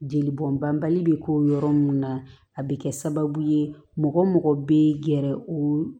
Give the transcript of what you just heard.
Jeli bɔn banbali bɛ k'o yɔrɔ minnu na a bɛ kɛ sababu ye mɔgɔ mɔgɔ bɛ gɛrɛ o